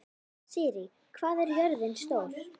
Sirrí, hvað er jörðin stór?